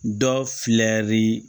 Dɔ filɛ li